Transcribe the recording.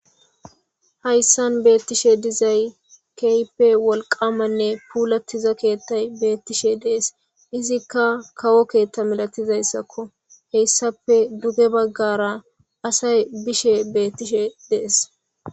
hayssan beettishe dizay kehippe wolqamanne puulattiza keettay beettishe dees izikka kawo keethta milatizayssakko heyssape duge baggara asay bishe beettishe de7es.